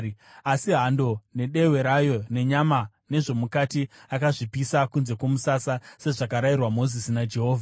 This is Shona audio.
Asi hando nedehwe rayo nenyama nezvomukati akazvipisa kunze kwomusasa sezvakarayirwa Mozisi naJehovha.